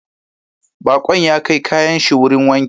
Bakon ya kai kayan shi wurin wanki